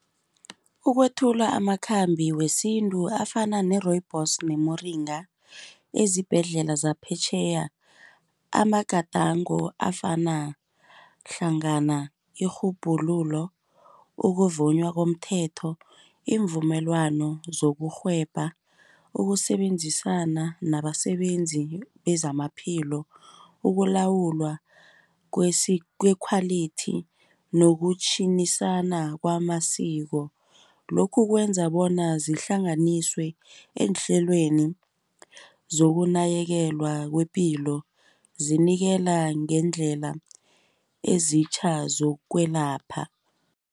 Ukwethula amakhambi wesintu afana ne-rooibos, nemoringa, ezibhedlela zaphetjheya amagadango afana hlangana, irhubhululo, ukuvunywa komthetho, iimvumelwano zokurhwebha ukusebenzisana nabasebenzi bezamaphilo, ukulawulwa kwekhwalithi nokutjhinisana kwamasiko. Lokhu kwenza bona zihlanganiswe eenhlelweni zokunakekelwa kwepilo zinikela ngeendlela ezitjha zokwelapha.